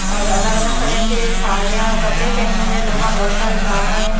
और अलग-अलग कलर के साड़ियां कपड़े पहने हुए लोगों में बहुत सारे झाड़ा है।